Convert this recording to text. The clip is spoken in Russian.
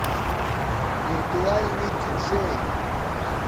виртуальный диджей